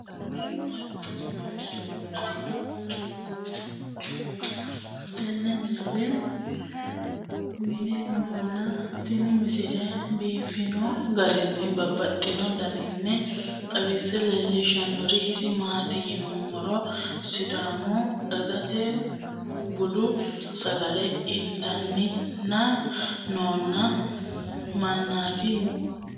tenne misile aana noorina tini misile biiffanno garinni babaxxinno daniinni xawisse leelishanori isi maati yinummoro sidaamu dagatta budu sagale ittanni noo mannaatti yaatte